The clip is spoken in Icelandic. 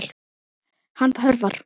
Hann hörfar.